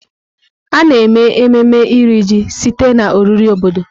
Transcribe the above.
A na-eme ememme Iri Ji site na oriri obodo.